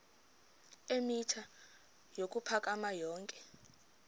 eemitha ukuphakama yonke